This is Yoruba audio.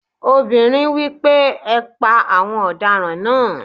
Ọmọbìnrin wí pé "ẹ pa àwọn ọ̀daràn náà!"